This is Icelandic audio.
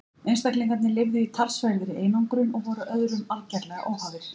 einstaklingarnir lifðu í talsverðri einangrun og voru öðrum algerlega óháðir